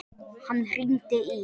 Hann hringdi í